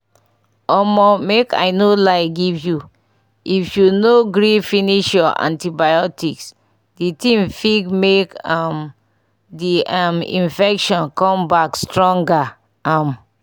omo make i no lie give you if you no gree finish your antibiotics the thing fig make um the um infections come back stronger um